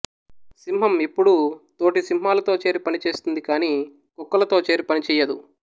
సింహం ఎప్పుడూ తోటి సింహాలతో చేరి పని చేస్తుంది కాని కుక్కలతో చేరి పని చెయ్యదు